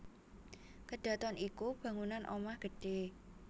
Kedhaton iku bangunan omah gedhé